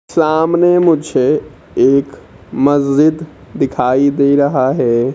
सामने मुझे एक मस्जिद दिखाई दे रहा है।